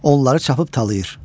Onları çapıb talayır.